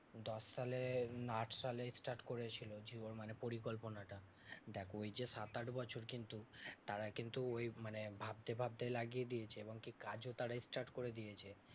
দশ সালে না আট সালে start করেছিল জিও মানে পরিকল্পনা টা। দেখ ওই যে সাত আট বছর কিন্তু তারা কিন্তু ওই মানে ভাবতে ভাবতেই লাগিয়ে দিয়েছে এবং কি কাজও তারা start করে দিয়েছে।